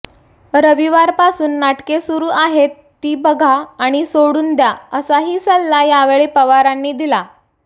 रविवारपासून नाटके सुरू आहेत ती बघा आणि सोडून द्या असाही सल्ला यावेळी पवारांनी दिला